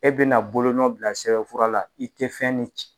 E bɛna bolonɔn bila sɛbɛnfura la i tɛ fɛn min ci.